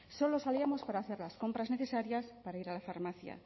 solo salíamos para hacer las compras necesarias para ir a la farmacia